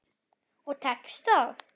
Og tekst það.